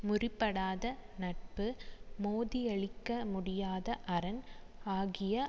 முரிபடாத நட்பு மோதியழிக்க முடியாத அரண் ஆகிய